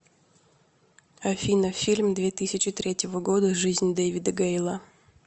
афина фильм две тысячи третьего года жизнь дэвида гейла